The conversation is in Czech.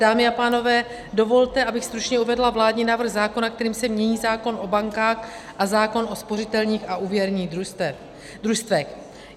Dámy a pánové, dovolte, abych stručně uvedla vládní návrh zákona, kterým se mění zákon o bankách a zákon o spořitelních a úvěrních družstvech.